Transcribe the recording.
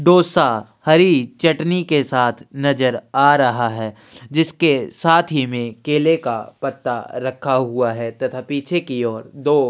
ढोसा हरी चटनी के साथ नज़र आ रहा है जिसके साथ ही में केले का पता रखा हुआ है तथा पीछे की और दो--